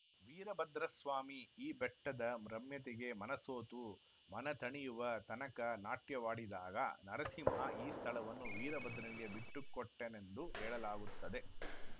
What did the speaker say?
ವೀರಭದ್ರಸ್ವಾಮಿ ಈ ಬೆಟ್ಟದ ರಮ್ಯತೆಗೆ ಮನಸೋತು ಮನತಣಿಯುವ ತನಕ ನಾಟ್ಯವಾಡಿದಾಗ ನರಸಿಂಹ ಈ ಸ್ಥಳವನ್ನು ವೀರಭದ್ರನಿಗೇ ಬಿಟ್ಟುಕೊಟ್ಟನೆಂದು ಹೇಳಲಾಗುತ್ತದೆ